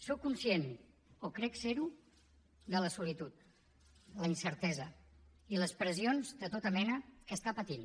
soc conscient o crec ser ho de la solitud la incertesa i les pressions de tota mena que està patint